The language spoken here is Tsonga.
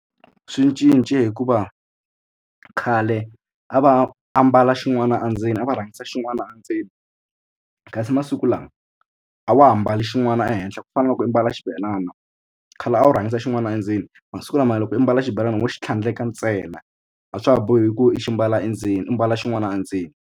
Swi cince hi ku va khale a va ambala xin'wana a ndzeni a va rhangisa xin'wana endzeni kasi masiku lawa a wa ha ambali xin'wana ehenhla ku fana na loko u mbala xibelana khale a wu rhangisa xin'wana endzeni masiku lama loko u mbala xibelani mo xi tlhandleka ntsena a swa ha bohi ku i xi mbala endzeni i mbala xin'wana endzeni.